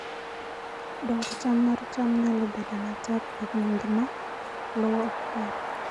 Dongo cham mar cham nyalo bedo matek e gwenge ma lowo ok ber.